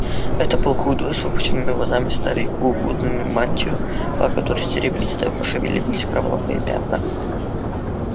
это был худой с выпученными глазами старик укутанный в мантию по которой серебристо пошевелились кровавые пятна